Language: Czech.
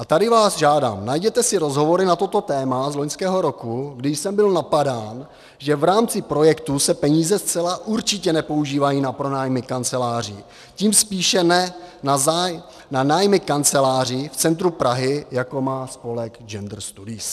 A tady vás žádám, najděte si rozhovory na toto téma z loňského roku, kdy jsem byl napadán, že v rámci projektů se peníze zcela určitě nepoužívají na pronájmy kanceláří, tím spíše ne na nájmy kanceláří v centru Prahy, jako má spolek Gender studies.